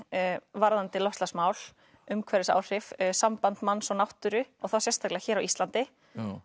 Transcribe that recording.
varðandi loftslagsmál umhverfisáhrif samband manns og náttúru og þá sérstaklega hér á Íslandi